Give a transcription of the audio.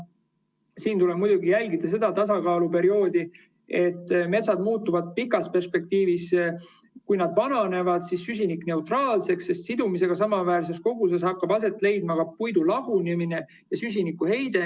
Siin tuleb muidugi jälgida seda tasakaaluperioodi, et metsad muutuvad pikas perspektiivis, kui nad vananevad, süsinikuneutraalseks, sest sidumisega samaväärses koguses hakkab aset leidma ka puidu lagunemine ja süsinikuheide.